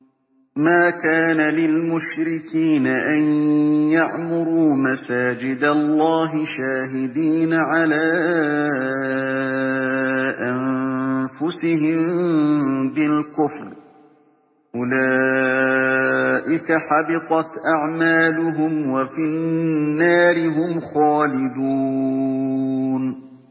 مَا كَانَ لِلْمُشْرِكِينَ أَن يَعْمُرُوا مَسَاجِدَ اللَّهِ شَاهِدِينَ عَلَىٰ أَنفُسِهِم بِالْكُفْرِ ۚ أُولَٰئِكَ حَبِطَتْ أَعْمَالُهُمْ وَفِي النَّارِ هُمْ خَالِدُونَ